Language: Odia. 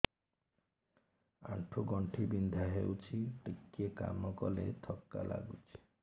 ଆଣ୍ଠୁ ଗଣ୍ଠି ବିନ୍ଧା ହେଉଛି ଟିକେ କାମ କଲେ ଥକ୍କା ଲାଗୁଚି